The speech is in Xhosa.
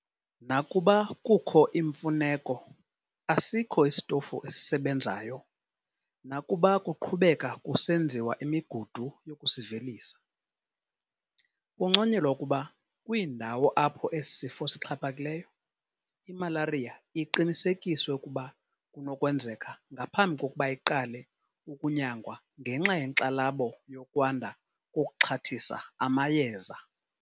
Nakuba kukho imfuneko, asikho isitofu esisebenzayo, nakuba kuqhubeka kusenziwa imigudu yokusivelisa. Kunconyelwa ukuba kwiindawo apho esi sifo sixhaphakileyo, imalariya iqinisekiswe ukuba kunokwenzeka ngaphambi kokuba iqale ukunyangwa ngenxa yenkxalabo yokwanda kokuxhathisa amayeza.